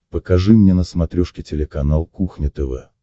покажи мне на смотрешке телеканал кухня тв